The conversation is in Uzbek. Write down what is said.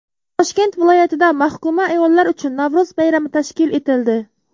Toshkent viloyatida mahkuma ayollar uchun Navro‘z bayrami tashkil etildi .